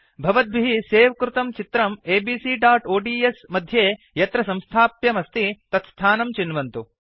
भवद्भिः सेव् कृतं चित्रं abcओड्स् मध्ये यत्र संस्थाप्यम् अस्ति तत्स्थानं चिन्वन्तु